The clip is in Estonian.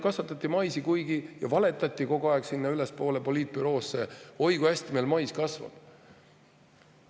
Kasvatati maisi ja valetati kogu aeg ülespool poliitbüroole: oi, kui hästi meil mais kasvab.